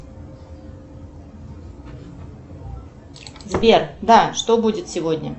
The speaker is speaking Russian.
сбер да что будет сегодня